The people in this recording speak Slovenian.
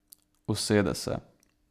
Usede se.